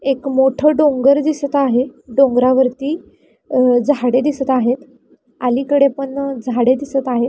एक मोठ डोंगर दिसत आहे डोंगरा वरती अ झाडे दिसत आहेत अलिकडे पण झाडे दिसत आहेत.